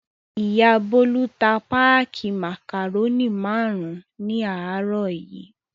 Ìyá Bólú ta páákì màkàrónì márùn-ún ní àárọ̀ yìí.